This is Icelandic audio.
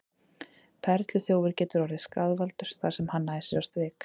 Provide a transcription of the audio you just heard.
Perluþjófur getur orðið skaðvaldur þar sem hann nær sér á strik.